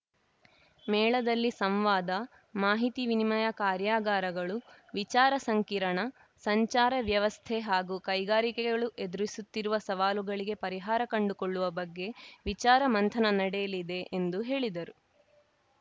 ಮೇಳದಲ್ಲಿ ಸಂವಾದ ಮಾಹಿತಿ ವಿನಿಮಯದ ಕಾರ್ಯಾಗಾರಗಳು ವಿಚಾರ ಸಂಕಿರಣ ಸಂಚಾರ ವ್ಯವಸ್ಥೆ ಹಾಗೂ ಕೈಗಾರಿಕೆಗಳು ಎದುರಿಸುತ್ತಿರುವ ಸವಾಲುಗಳಿಗೆ ಪರಿಹಾರ ಕಂಡುಕೊಳ್ಳುವ ಬಗ್ಗೆ ವಿಚಾರ ಮಂಥನ ನಡೆಯಲಿದೆ ಎಂದು ಹೇಳಿದರು